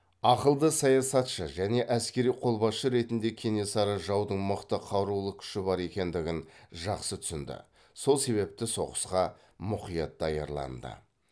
ақылды саясатшы және әскери қолбасшы ретінде кенесары жаудың мықты қарулы күші бар екендігін жақсы түсінді сол себепті соғысқа мұқият даярланды